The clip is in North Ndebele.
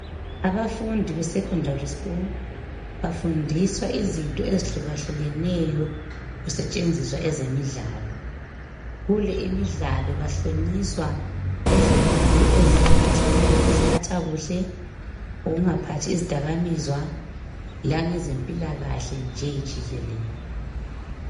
abafundi besecondary school bafundiswa izinto ezihlukeneyo kusetshenziswa ezeimidlalo kule imidlalo bahlonyiswa ngezifundo eziphathelane ngokuziphatha ukungaphathi izidakamizwa lange zempilakahle.